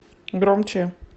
громче